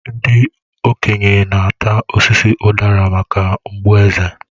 Ndị okenye na-ata osisi udara maka mgbu eze.